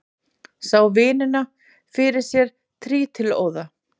Sá vinina fyrir sér trítilóða.